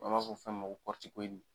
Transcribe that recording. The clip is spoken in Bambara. An b'a fɔ fɛn min ma ko kɔritikoyidi